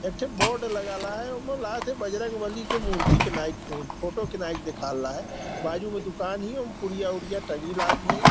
एक के बोर्ड लगा ले है उसमें बजरंग बली की मूर्ति अ फोटो दिखा ला है बाजू में दुकान --